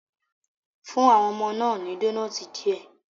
Fún àwọn ọmọ náà ní donoiti díẹ̀